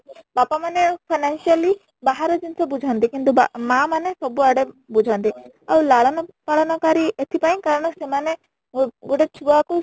ବାପା ମନେ financially ବାହାର ଜିନିଷ ବୁଝନ୍ତି କିନ୍ତୁ ବା ମା ମାନେ ସବୁ ଆଡେ଼ ବୁଝନ୍ତି ଆଉ ଲାଳନପାଳନକାରୀ ଏଥିପାଇଁ କାରଣ ସେମାନେ ଗୋ ଗୋଟେ ଛୁଆ କୁ